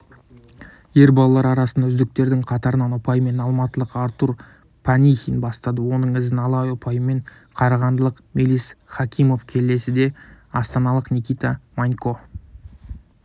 ер балалар арасында үздіктердің қатарын ұпаймен алматылық артур панихин бастады оның ізін ала ұпаймен қарағандылық мелис хакимов келсе астаналық никита манько